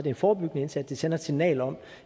en forebyggende indsats vi sender et signal om